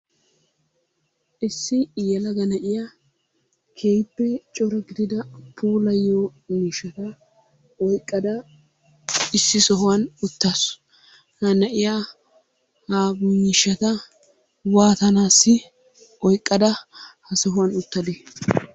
Issi yelagga na'iyaa keehippe corattida puulayiyoo miishshatta oyqqada issi sohuwaani uttasu, ha na'iyaa ha miishshata waatanassi oyqadda ha sohuwaani uttade?